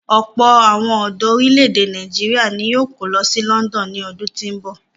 Ọ̀pọ̀ àwọn ọ̀dọ orílè-èdè Nàìjíríà ni yóò kó lọ sí London ní ọdún tí ń bọ̀.